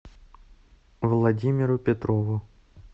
владимиру петрову